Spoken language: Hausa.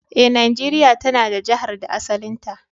Eh, Najeria ta na da Jihar da asalinta.